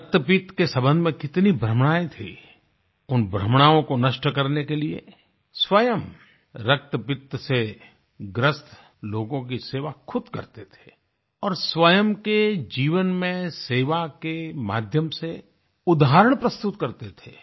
रक्तपित्त के सम्बन्ध में कितनी भ्रमणाएँ थी उन भ्रमणाओं को नष्ट करने के लिये स्वयं रक्तपित्त से ग्रस्त लोगों की सेवा ख़ुद करते थे और स्वयं के जीवन में सेवा के माध्यम से उदाहरण प्रस्तुत करते थे